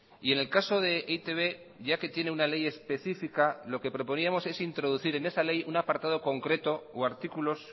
y en el caso de e i te be ya que tiene una ley específica lo que proponíamos es introducir en esa ley un apartado concreto o artículos